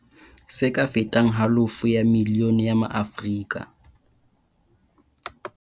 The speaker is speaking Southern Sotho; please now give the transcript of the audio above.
Se ka fetang halofo ya milione ya maAfrika